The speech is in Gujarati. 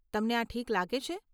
તમને આ ઠીક લાગે છે?